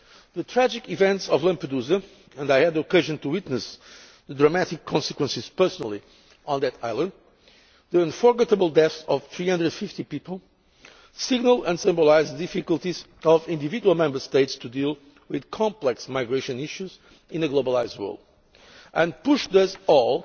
as well. The tragic events of Lampedusa I had the occasion to witness the dramatic consequences personally on that island and the unforgettable deaths of 350 people signalled and symbolised the difficulties of individual Member States in dealing with complex migration issues in a globalised world and pushed